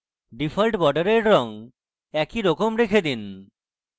default বর্ডারের রঙ একইরকম রেখে দিন